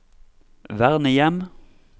vernehjem